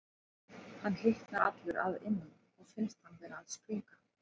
Hann hitnar allur að innan og finnst hann vera að springa.